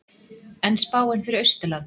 en spáin fyrir austurland